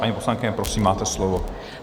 Paní poslankyně, prosím, máte slovo.